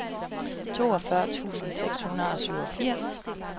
toogfyrre tusind seks hundrede og syvogfirs